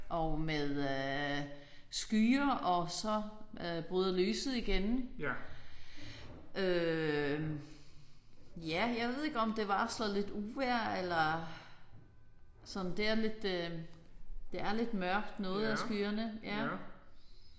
Og med skyer og så bryder lyset igennem øh ja jeg ved ikke om det varsler lidt uvejr eller sådan det er lidt øh det er lidt mørkt noget af skyerne